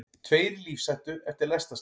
Tveir í lífshættu eftir lestarslys